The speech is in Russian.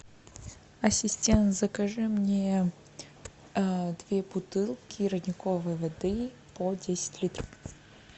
ассистент закажи мне две бутылки родниковой воды по десять литров